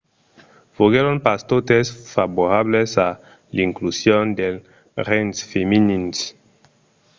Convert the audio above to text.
foguèron pas totes favorables a l'inclusion dels rengs femenins